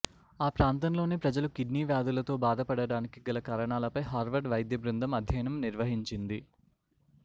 ఆ ప్రాంతంలోని ప్రజలు కిడ్నీ వ్యాధులతో బాధపడటానికి గల కారణాలపై హార్వర్డ్ వైద్య బృందం అధ్యయనం నిర్వహించింది